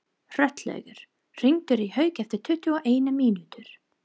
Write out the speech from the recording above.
Hrollaugur, hringdu í Hauk eftir tuttugu og eina mínútur.